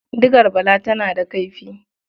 Digar Bala tana da kaifi.